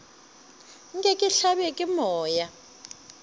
nke ke hlabje ke moya